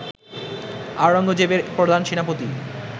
আওরঙ্গজেবের প্রধান সেনাপতি